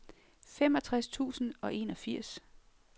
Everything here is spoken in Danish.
femogtres tusind og enogfirs